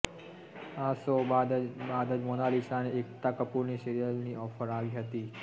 આ શો બાદ જ મોનાલિસાને એકતા કપૂરની સિરિયલની ઓફર આવી હતી